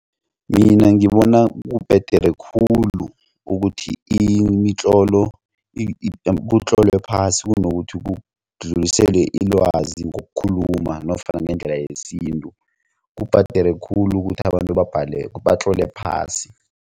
Mina ngibona kubhedere khulu ukuthi imitlolo kutlolwe phasi kunokuthi kudluliselwe ilwazi ngokukhuluma nofana ngendlela yesintu kubhedere khulu ukuthi abantu batlole phasi.